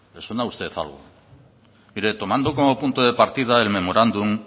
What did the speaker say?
le suena a usted algo mire tomando como punto de partida el memorándum